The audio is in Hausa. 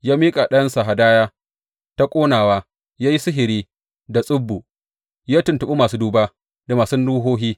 Ya miƙa ɗansa hadaya ta ƙonawa, ya yi sihiri da tsubu, ya tuntuɓi masu duba da masu ruhohi.